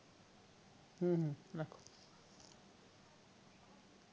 হম